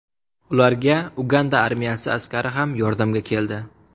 Ularga Uganda armiyasi askari ham yordamga keldi.